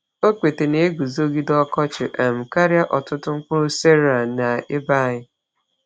Okpete na-eguzogide ọkọchị um karịa ọtụtụ mkpụrụ cereal n’ebe anyị.